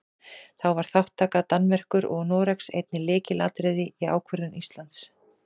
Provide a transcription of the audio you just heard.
Þá var þátttaka Danmerkur og Noregs einnig lykilatriði í ákvörðun Íslands.